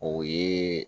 O ye